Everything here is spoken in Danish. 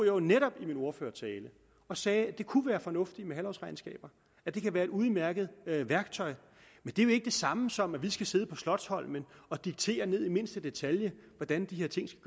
jo netop i min ordførertale og sagde at det kunne være fornuftigt med halvårsregnskaber at det kan være et udmærket værktøj men det er jo ikke det samme som at vi skal sidde på slotsholmen og diktere ned i mindste detalje hvordan de her ting skal